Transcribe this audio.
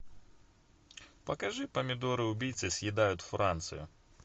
покажи помидоры убийцы съедают францию